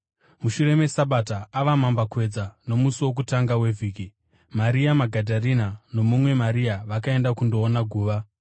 Mushure meSabata, ava mambakwedza nomusi wokutanga wevhiki, Maria Magadharena nomumwe Maria vakaenda kundoona guva.